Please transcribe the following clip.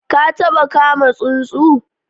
Ka taba kama tsuntsu?